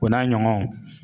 O n'a ɲɔgɔnw.